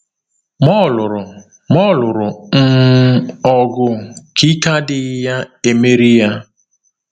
Ma ọ lụrụ Ma ọ lụrụ um ọgụ ka ike adịghị ya emeri ya.